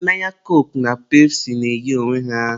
mmanya koku na pepụsi na-eyi onwe ha.